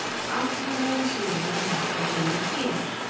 Alþjóðlegu síðuna má svo finna hér